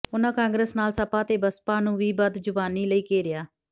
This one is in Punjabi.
ਉਨ੍ਹਾਂ ਕਾਂਗਰਸ ਨਾਲ ਸਪਾ ਤੇ ਬਸਪਾ ਨੂੰ ਵੀ ਬਦਜ਼ੁਬਾਨੀ ਲਈ ਘੇਰਿਆ